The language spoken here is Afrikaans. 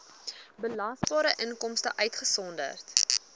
belasbare inkomste uitgesonderd